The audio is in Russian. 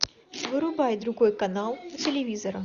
вырубай другой канал у телевизора